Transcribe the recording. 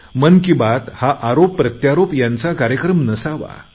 मन कि बात हा आरोपप्रत्यारोप यांचा कार्यक्रम नसावा